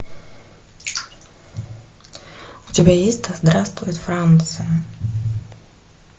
у тебя есть да здравствует франция